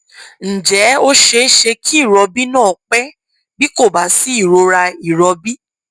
ǹjẹ ó ṣe é ṣe kí ìrọbí náà pẹ bí kò bá sí ìrora ìrọbí